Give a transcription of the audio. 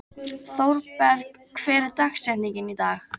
Thorberg, hver er dagsetningin í dag?